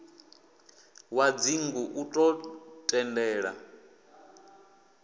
wa dzingu u ḓo tendela